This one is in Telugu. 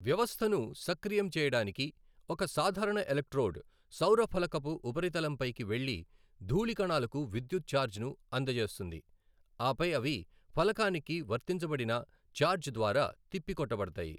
వ్యవస్థను సక్రియం చేయడానికి, ఒక సాధారణ ఎలక్ట్రోడ్ సౌరఫలకపు ఉపరితలంపైకి వెళ్ళి, ధూళి కణాలకు విద్యుత్ చార్జ్ను అందజేస్తుంది, ఆపై అవి ఫలకానికి వర్తించబడిన ఛార్జ్ ద్వారా తిప్పికొట్టబడతాయి.